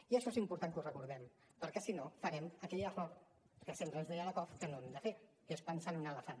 i això és important que ho recordem perquè si no farem aquell error que sempre ens deia lakoff que no hem de fer que és pensar en un elefant